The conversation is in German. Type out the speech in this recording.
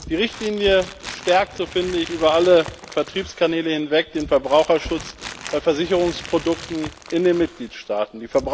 Die Richtlinie stärkt, so finde ich, über alle Vertriebskanäle hinweg den Verbraucherschutz bei Versicherungsprodukten in den Mitgliedstaaten.